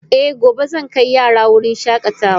Eh gobe zan kai yaran wurin shakatawa.